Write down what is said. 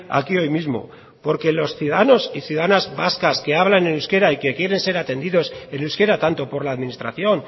aquí hoy mismo porque los ciudadanos y ciudadanas vascas que hablan en euskera y que quieren ser atendidos en euskera tanto por la administración